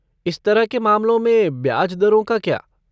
इस तरह के मामलों में ब्याज दरों का क्या?